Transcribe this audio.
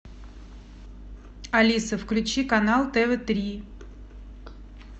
алиса включи канал тв три